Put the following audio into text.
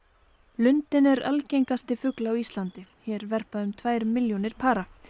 lundinn er algengasti fugl á Íslandi hér verpa um tvær milljónir para